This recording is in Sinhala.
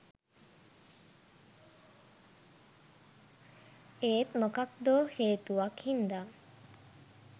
ඒත් මොකක්දෝ හේතුවක් හින්දා